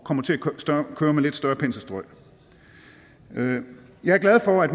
kommer til at køre med lidt større penselstrøg jeg er glad for at